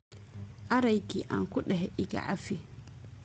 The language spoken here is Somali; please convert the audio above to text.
Areyki an kudexe ikacafii.